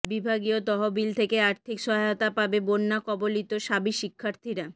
বিভাগীয় তহবিল থেকে আর্থিক সহায়তা পাবে বন্যা কবলিত শাবি শিক্ষার্থীরা